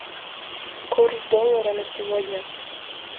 курс доллара на сегодня